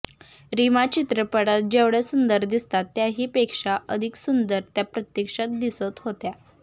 रिमा चित्रपटात जेवढ्या सुंदर दिसतात त्याहीपेक्षा अधिक सुंदर त्या प्रत्यक्षात दिसत होत्या